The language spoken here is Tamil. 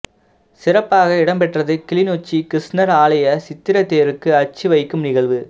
சிறப்பாக இடம்பெற்றது கிளிநொச்சி கிருஸ்ணர் ஆலய சித்திர தேருக்கு அச்சு வைக்கும் நிகழ்வு